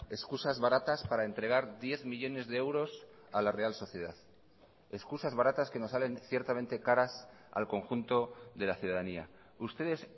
excusas baratas para entregar diez millónes de euros a la real sociedad excusas baratas que nos salen ciertamente caras al conjunto de la ciudadanía ustedes